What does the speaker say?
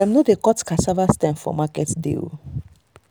dem no dey cut cassava stem for market day.